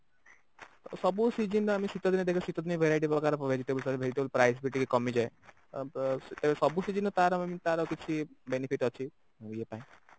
ସବୁ season ରେ ଆମେ ଶୀତ ଦିନେ verity ପ୍ରକାର vegetable rice ବି ଟିକେ କାମିଯାଏ ସବୁ season ତାର ମାନେ ତାର କିଛି benefit ଅଛି